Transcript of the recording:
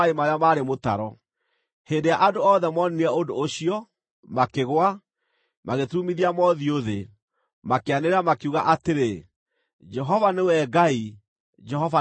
Hĩndĩ ĩrĩa andũ othe moonire ũndũ ũcio, makĩgũa, magĩturumithia mothiũ thĩ, makĩanĩrĩra makiuga atĩrĩ, “Jehova nĩwe Ngai! Jehova nĩwe Ngai!”